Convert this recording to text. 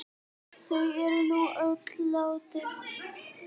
Þau eru nú öll látin.